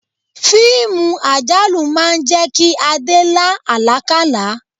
Fíìmù àjálù máa ń jẹ́ kí Adé la alakala.